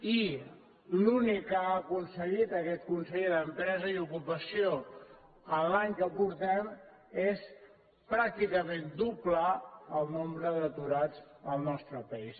i l’únic que ha aconseguit aquest conseller d’empresa i ocupació en l’any que ha passat és pràcticament doblar el nombre d’aturats al nostre país